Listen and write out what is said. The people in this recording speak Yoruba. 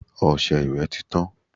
Ọṣẹ ìwẹ̀ tí tán.